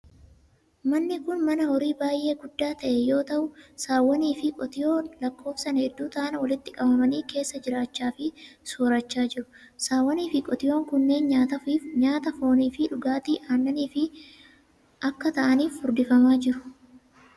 Manni kun, mana horii baay'ee guddaa ta'e yoo ta'u, saawwan fi qotiyoon lakkoofsan hedduu ta'an walitti qabamanii keessa jiraachaa fi soorachaa jiru. Saawwan fi qotiyoon kunneen nyaata foonif fi dhugaatii aannaniif akka ta'aniif furdifamaa jiru.